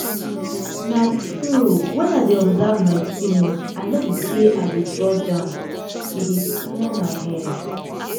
na true wen i dey observe my feelings i no be say i de judge am e dey clear my head.